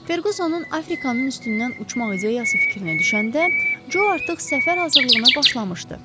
Ferqusonun Afrikanın üstündən uçmaq ideyası fikrinə düşəndə, Co artıq səfər hazırlığına başlamışdı.